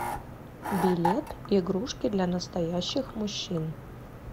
билет игрушки для настоящих мужчин